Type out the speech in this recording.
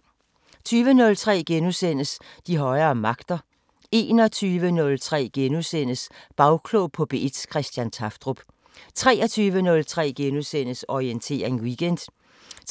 20:03: De højere magter * 21:03: Bagklog på P1: Christian Tafdrup * 23:03: Orientering Weekend *